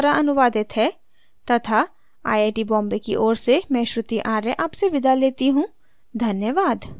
यह स्क्रिप्ट सकीना द्वारा अनुवादित है तथा आई आई टी बॉम्बे की ओर से मैं श्रुति आर्य आपसे विदा लेता हूँ धन्यवाद